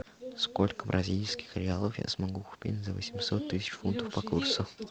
сколько бразильских реалов я смогу купить за восемьсот тысяч фунтов по курсу